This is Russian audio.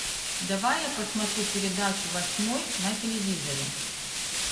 давай я посмотрю передачу восьмой на телевизоре